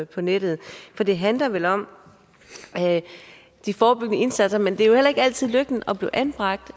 på nettet det handler vel om de forebyggende indsatser men det er jo heller ikke altid lykken at blive anbragt